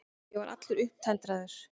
Ég var allur upptendraður.